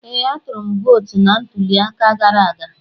Ee, atụrụ m vootu na ntuli aka gara aga.